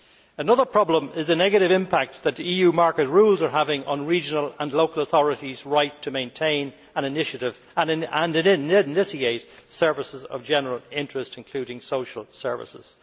Another problem is the negative impact that EU market rules are having on regional and local authorities' right to maintain and initiate services of general interest, including social services.